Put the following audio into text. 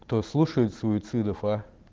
кто слушает суицидов а